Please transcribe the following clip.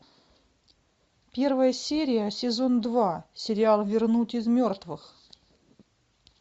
первая серия сезон два сериал вернуть из мертвых